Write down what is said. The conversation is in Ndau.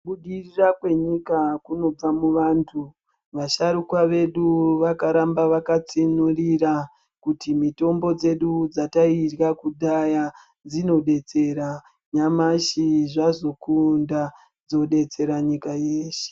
Kubudirira kwe nyika kunobva mu vantu vasharukwa vedu vakaramba vaka tsinyurira kuti mitombo dzedu dzatairya kudhaya dzino detsera nyamashi zvazokunda dzodetsera nyika yeshe.